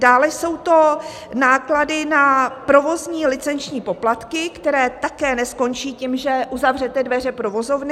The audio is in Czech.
Dále jsou to náklady na provozní licenční poplatky, které také neskončí tím, že uzavřete dveře provozovny.